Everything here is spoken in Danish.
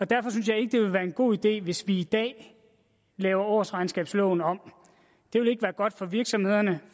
derfor synes jeg ikke det vil være en god idé hvis vi i dag laver årsregnskabsloven om det vil ikke være godt for virksomhederne